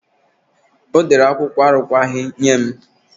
Ọ dere akwụkwọ arụkwaghị nye m.